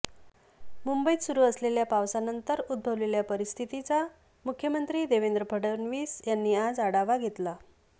मुंबईत सुरु असलेल्या पावसानंतर उद्भवलेल्या परिस्थितीचा मुख्यमंत्री देवेंद्र फडणवीस यांनी आज आढावा घेतला